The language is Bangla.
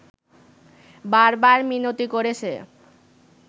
বার বার মিনতি করেছে